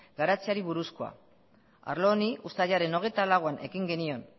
garatzeari buruzkoa arlo honi uztailaren hogeita lauean ekin genion